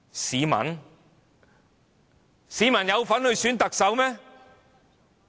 市民有份選特首嗎？